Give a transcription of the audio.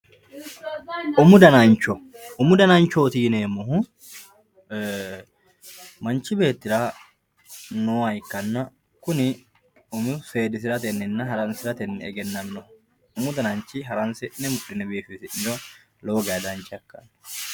umu danancho umu dananchooti yineemmohu ee manchi beettira nooha ikkanna kuni umo seedisiratenninna haransiratenni egennaminoho umu dananchi haransi'ne mudhine biifisi'niro lowo geeshsha dancha ikkanno.